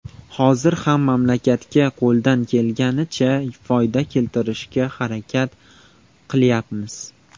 Hozir ham mamlakatga qo‘ldan kelganicha foyda keltirishga harakat qilyapmiz.